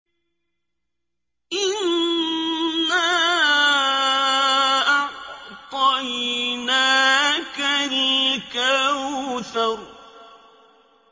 إِنَّا أَعْطَيْنَاكَ الْكَوْثَرَ